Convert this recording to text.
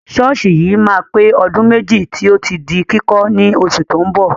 Ṣọ́ọ̀ṣì yìí máa pé ọdún méjì tí ó ti di kíkọ́ ní oṣù tó ń bọ̀.